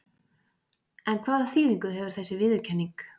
En hvaða þýðingu hefur þessi viðurkenning?